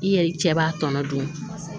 I yɛrɛ cɛ b'a tɔnɔ dun